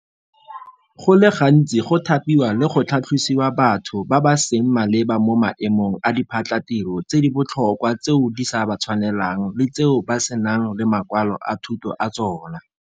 Go le gantsi go thapiwa le go tlhatlhosiwa batho ba ba seng maleba mo maemong a diphatlhatiro tse di botlhokwa tseo di sa ba tshwanelang le tseo ba senang le makwalo a thuto a tsona.